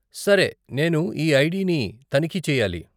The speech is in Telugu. సరే, నేను ఈ ఐడిని తనిఖీ చెయ్యాలి.